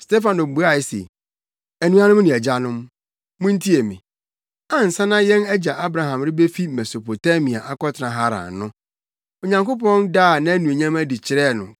Stefano buae se, “Anuanom ne agyanom, muntie me! Ansa na yɛn agya Abraham rebefi Mesopotamia akɔtena Haran no, Onyankopɔn daa nʼanuonyam adi kyerɛɛ no,